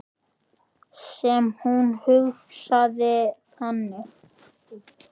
Sem hún hugsaði þannig.